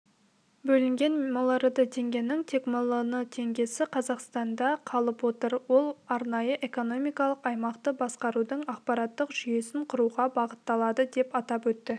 бөлінген миллиард теңгенің тек миллион теңгесі қазынада қалып отыр ол арнайы экономикалық аймақты басқарудың ақпараттық жүйесін құруға бағытталады деп атап өтті